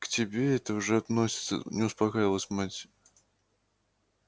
к тебе это уже относится не успокаивалась мать